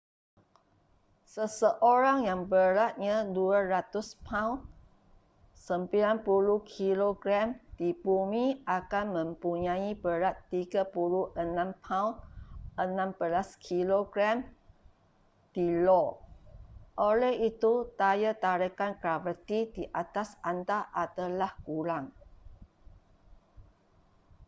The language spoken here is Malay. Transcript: seseorang yang beratnya 200 paun 90kg di bumi akan mempunyai berat 36 paun 16kg di io. oleh itu daya tarikan graviti ke atas anda adalah kurang